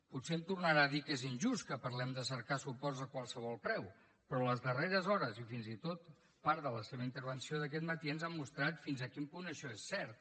potser em tornarà a dir que és injust que parlem de cercar suports a qualsevol preu però les darreres hores i fins i tot part de la seva intervenció d’aquest matí ens ha mostrat fins a quin punt això és cert